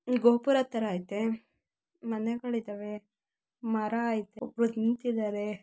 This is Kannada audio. ಇದು ಗೋಪುರ ತರ ಇದೆ ಮನೆಗಳಿದ್ದಾವೆ ಮರ ಇದೆ ನಿಂತಿದ್ದಾರೆ.